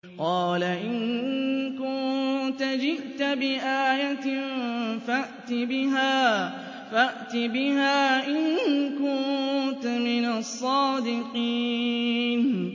قَالَ إِن كُنتَ جِئْتَ بِآيَةٍ فَأْتِ بِهَا إِن كُنتَ مِنَ الصَّادِقِينَ